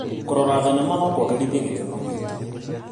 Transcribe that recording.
Kũrora thenema no kũagĩrithie gĩkeno gĩitũ.